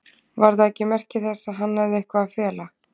Var það ekki merki þess að hann hefði eitthvað að fela?